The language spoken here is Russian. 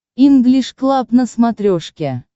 инглиш клаб на смотрешке